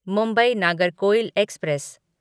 Mumbai Nagercoil express